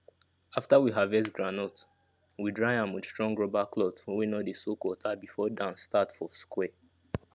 after we harvest groundnut we dry am with strong rubber cloth wey no dey soak water before dance start for square